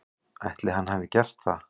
Ætli hann hafi gert það?